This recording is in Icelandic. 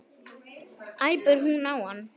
æpir hún á hann.